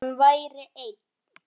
Hann væri einn.